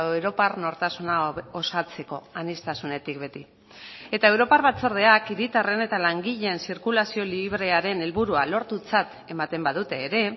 europar nortasuna osatzeko aniztasunetik beti eta europar batzordeak hiritarren eta langileen zirkulazio librearen helburua lortutzat ematen badute ere